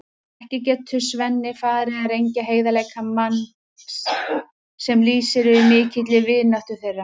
Ekki getur Svenni farið að rengja heiðarleika manns sem lýsir yfir mikilli vináttu þeirra.